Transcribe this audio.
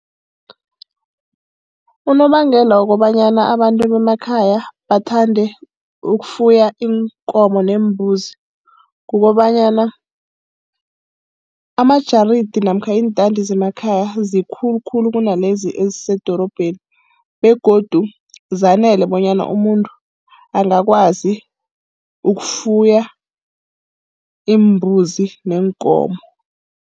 Unobangela wokobanyana abantu bemakhaya bathande ukufuya iinkomo neembuzi kukobanyana amajaridi namkha iintandi zemakhaya zikulu khulu kunalezi ezisemadorobheni, begodu zanele bonyana umuntu angakwazi ukufuya iimbuzi neenkomo.